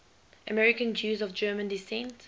american jews of german descent